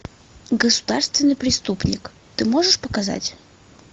государственный преступник ты можешь показать